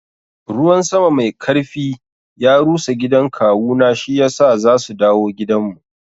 Ruwan sama mai karfi ya rusa gidan kawuna shiyasa za su dawo gidanmu.